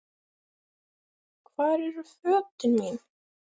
Hvar eru fötin mín?